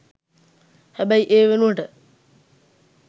හැබැයි ඒ වෙනුවට